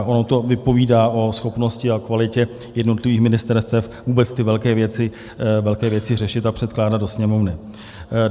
A ono to vypovídá o schopnosti a kvalitě jednotlivých ministerstev vůbec ty velké věci řešit a předkládat do Sněmovny.